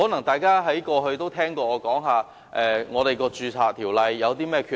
大家過去可能曾聽我討論《條例》的缺憾。